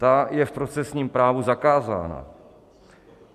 Ta je v procesním právu zakázána.